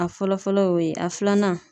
A fɔlɔ fɔlɔ y'o ye, a filanan